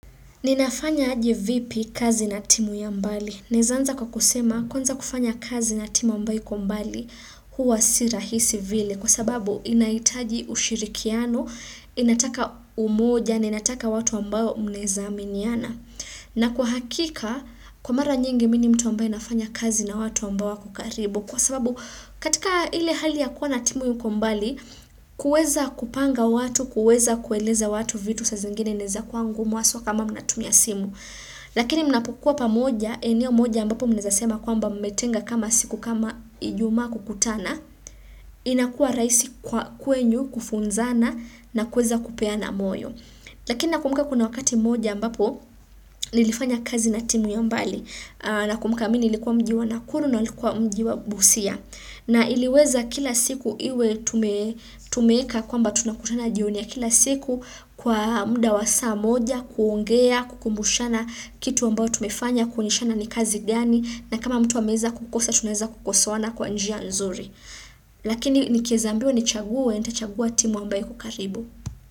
Ninafanya aje vipi kazi na timu ya mbali. Naeza anza kwa kusema, kwanza kufanya kazi na timu ambayo iko mbali, huwa si rahisi vile. Kwa sababu, inahitaji ushirikiano, inataka umoja, inataka watu ambao mnaeza aminiana. Na kwa hakika, kwa mara nyingi mi ni mtu ambaye nafanya kazi na watu ambao wako karibu. Kwa sababu katika ile hali ya kuwa na timu iko mbali, kuweza kupanga watu, kuweza kueleza watu vitu sa zingine inaeza kwa ngumu haswa kama mnatumia simu. Lakini mnapokua pamoja, eneo moja ambapo mnaeza sema kwamba mmetenga kama siku kama ijumaa kukutana, inakua rahisi kwenu kufunzana na kuweza kupea na moyo. Lakini nakumbuka kuna wakati mmoja ambapo nilifanya kazi na timu ya mbali na kumbuka mi nilikuwa mji wa nakuru na walikuwa mji wa busia. Na iliweza kila siku iwe tumeeka kwamba tunakutana jioni ya kila siku kwa muda wa saa moja, kuongea, kukumbushana kitu ambao tumefanya, kuonyeshana ni kazi gani, na kama mtu ameweza kukosa, tunaweza kukosoana kwa njia nzuri. Lakini nikieza ambiwa nichaguwe, nitachaguwa timu ambayo iko karibu.